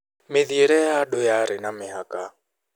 Mĩthiĩre ya andũ yarĩ na mĩhaka.